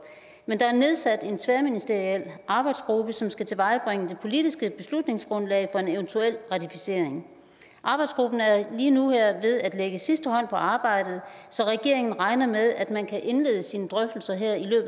men der er nedsat en tværministeriel arbejdsgruppe som skal tilvejebringe det politiske beslutningsgrundlag for en eventuel ratificering arbejdsgruppen er lige nu ved at lægge sidste hånd på arbejdet så regeringen regner med at man kan indlede sine drøftelser her i